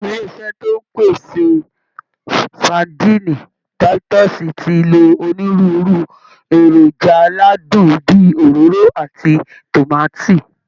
Ilé iṣẹ́ tó ń pèsè sadíìnì táítọ́ọ̀sì ti lo onírúurú èròjà aládùn bí i òróró àti tòmátì